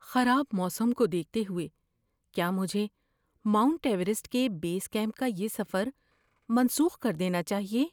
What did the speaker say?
خراب موسم کو دیکھتے ہوئے، کیا مجھے ماؤنٹ ایورسٹ کے بیس کیمپ کا یہ سفر منسوخ کر دینا چاہیے؟